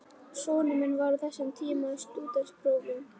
Sonur minn var á þessum tíma í stúdentsprófum.